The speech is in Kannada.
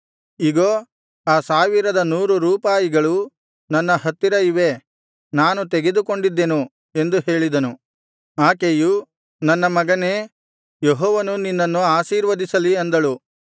ಇಗೋ ಆ ಸಾವಿರದ ನೂರು ರೂಪಾಯಿಗಳು ನನ್ನ ಹತ್ತಿರ ಇವೆ ನಾನು ತೆಗೆದುಕೊಂಡಿದ್ದೆನು ಎಂದು ಹೇಳಿದನು ಆಕೆಯು ನನ್ನ ಮಗನೇ ಯೆಹೋವನು ನಿನ್ನನ್ನು ಆಶೀರ್ವದಿಸಲಿ ಅಂದಳು